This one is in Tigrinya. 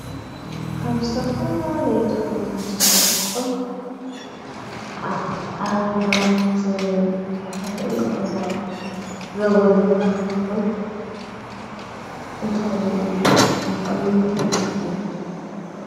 ካብ ዝተፈላለዩ ተኽልታት ተሰሪሖም ኣብ ኣብ ናውቲ ኣቁሑ ገዛ ዘገልጉሉ እንታይ ኢልና ንፅውዖም ወይ ካዓ ንምንታይ ይጠቅሙ?